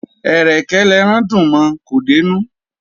Ẹ̀rẹ̀kẹ́ l'ẹran dùn mọ; kò dé'nú.